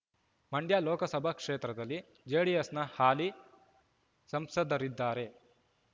ಮಂಡ್ಯ ಲೋಕಸಭಾ ಕ್ಷೇತ್ರದಲ್ಲಿ ಜೆಡಿಎಸ್‌ನ ಹಾಲಿ ಸಂಸದರಿದ್ದಾರೆ